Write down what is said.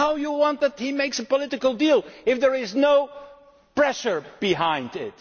deal. How do you expect him to make a political deal if there is no pressure behind